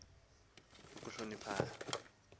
zam kudala zafa